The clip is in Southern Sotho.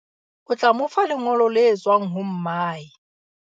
o tla mo fa lengolo le tswang ho mmae